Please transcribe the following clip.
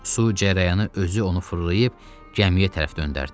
Su cərəyanı özü onu fırlayıb gəmiyə tərəf döndərdi.